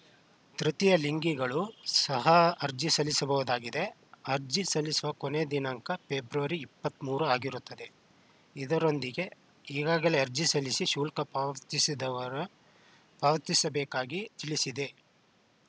ತೃತೀಯ ಲಿಂಗಿಗಳು ಸಹ ಅರ್ಜಿ ಸಲ್ಲಿಸಬಹುದಾಗಿದೆ ಅರ್ಜಿ ಸಲ್ಲಿಸಲು ಕೊನೆಯ ದಿನಾಂಕ ಫೆಬ್ರವರಿ ಇಪ್ಪತ್ತ್ ಮೂರು ಆಗಿರುತ್ತದೆ ಇದರೊಂದಿಗೆ ಈಗಾಗಲೇ ಅರ್ಜಿ ಸಲ್ಲಿಸಿ ಶುಲ್ಕ ಪಾವತಿಸದವರು ಪಾವತಿಸ ಬೇಕಾಗಿ ತಿಳಿಸಿದೆ